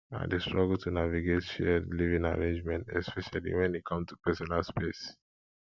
i dey struggle to navigate shared living arrangements especially when e come to personal space